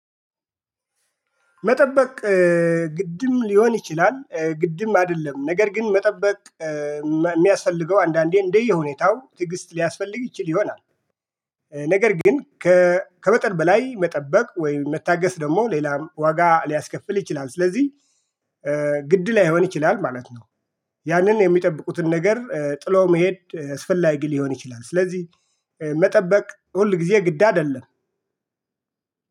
መጠበቅ ግድም ሊሆን ይችላል። ግድም አደለም ነገር ግን መጠበቅ ሚያስፈልገው አንዳንዴ እንደየሁኔታው ትግስት ሊያስፈልግ ይችል ይሆናል። ነገር ግን ከመጠን በላይ መጠበቅ ወይም መታገስ ደሞ ሌላም ዋጋ ሊያስከፍል ይችላል። ስለዚ ግድ ላይሆን ይችላል ማለት ነው። ያንን የሚጠብቁትን ነገር ጥሎ መሄድ አስፈላጊ ሊሆን ይችላል። ስለዚ መጠበቅ ሁል ጊዜ ግድ አደለም